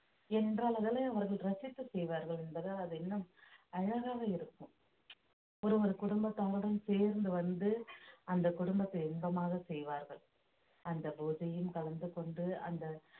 ஏனென்றால் அதனை அவர்கள் ரசித்து செய்வார்கள் என்பதால் அது இன்னும் அழகாக இருக்கும் ஒருவர் குடும்பத்தாருடன் சேர்ந்து வந்து அந்த குடும்பத்தை இன்பமாக செய்வார்கள் அந்த பூஜையும் கலந்து கொண்டு அந்த